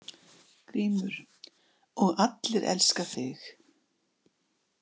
GRÍMUR: Og allir elska þig.